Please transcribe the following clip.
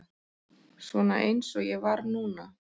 Svona eins og ég var núna.